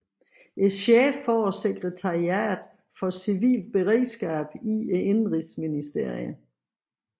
Chefen for sekretariatet for civilt beredskab i indenrigsministeriet